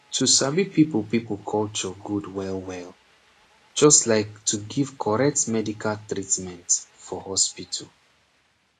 eeh to sabi people people culture gud welwel just like to give korrect medical treatment for hospital